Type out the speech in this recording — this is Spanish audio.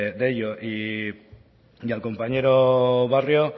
de ello y al compañero barrio